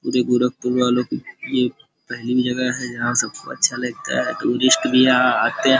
जो गोरखपुर वालों की ये पहली जगह है यहाँ सबको अच्छा लगता है टूरिस्ट भी यहाँ आते --